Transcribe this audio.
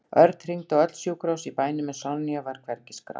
Örn hringdi á öll sjúkrahús í bænum en Sonja var hvergi skráð.